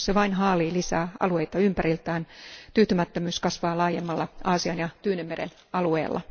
Jos Kiina vain haalii lisää alueita ympäriltään, tyytymättömyys kasvaa laajemmalla Aasian ja Tyynenmeren alueella.